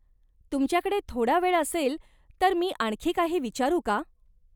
तुमच्याकडे थोडा वेळ असेल तर मी आणखी काही विचारू का?